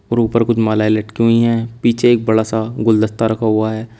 और ऊपर कुछ मालाएं लटकी हुई हैं पीछे एक बड़ा सा गुलदस्ता रखा हुआ है।